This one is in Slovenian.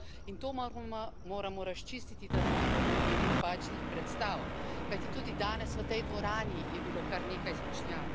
In to moramo razčistiti, da ne bomo imeli napačnih predstav, kajti tudi danes v tej dvorani je bilo kar nekaj zmešnjave.